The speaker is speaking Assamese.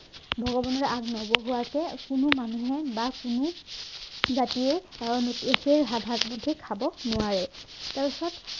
ভগৱানক আগ নবঢ়োৱােকো কোনো মানুহে বা কোনো জাতিয়ে সেই ভাতমুঠি খাব নোৱাৰে তাৰপাছত